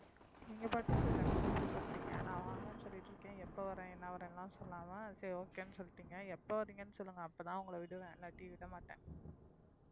நீங்க பாட்டுக்கு டக்குன்னு இப்படி சொல்லிட்டீங்க நான் வாங்கன்னு சொல்லிட்டிருக்கேன் எப்ப வர்றேன் என்ன வர்றேன்னு எல்லாம் சொல்லாம சரி okay ன்னு சொல்லிட்டீங்க எப்ப வரீங்கன்னு சொல்லுங்க அப்பதான் உங்களை விடுவேன் இல்லாட்டி விட மாட்டேன்